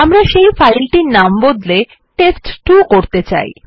আমরা সেই ফাইলটির নাম বদলে টেস্ট2 করতে চাই